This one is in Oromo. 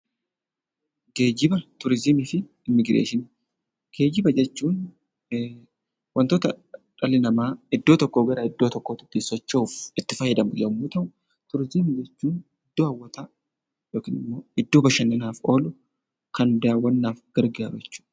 Geejjibaa, tuurizimiifi imibireeshini; geejjiba jechuun, wantoota dhalli nama iddoo tokkoo garaa iddoo tokkootti ittin sochoo'uf itti faayyadaamu yommuu ta'u, tuurizimii jechuun, iddoo hawwaataa ykn immoo iddoo bashaananaf oolu Kan dawwaannaf gargaaru jechuudha